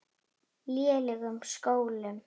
lélegum skólum.